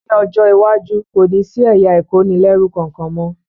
Ní ọjọ́ iwájú, kò ní sí ẹ̀yà ìkónilẹ́rú kankan mọ́